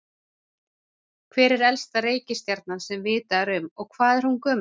Hver er elsta reikistjarnan sem vitað er um og hvað er hún gömul?